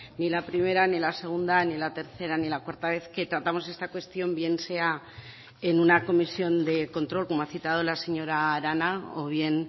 ni la primera ni la segunda ni la tercera ni la cuarta vez que tratamos esta cuestión bien sea en una comisión de control como ha citado la señora arana o bien